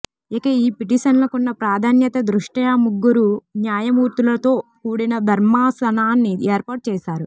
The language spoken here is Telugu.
ఇక ఈ పిటిషన్లకున్న ప్రాధాన్యత దృష్ట్యా ముగ్గురు న్యాయమూర్తులతో కూడిన ధర్మాసనాన్ని ఏర్పాటు చేశారు